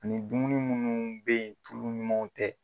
Nin dumuni munnu be yen tulumanw tɛ